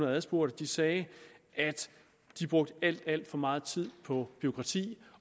adspurgte sagde at de brugte alt alt for meget tid på bureaukrati